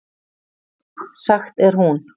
Sagt er hún.